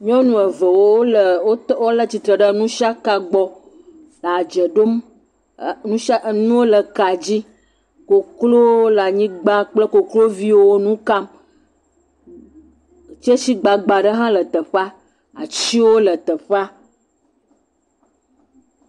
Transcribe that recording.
Nyɔnu eve wo le, wo tɔ ɖe tsitre le nusiaka gbɔ le dzɛ ɖom, nusiaka, enuwo wole ka dzi, koklowo le anyigba kple koklowo le nu kam. Tsisi gbagba ɖe hã le teƒea atiwo le teƒe